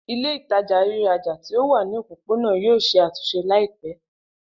Ile-itaja riraja ti o wa ni opopona yoo ṣe atunṣe laipẹ.